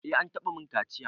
Eh an taɓa min kaciya.